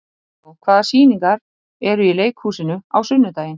Ríó, hvaða sýningar eru í leikhúsinu á sunnudaginn?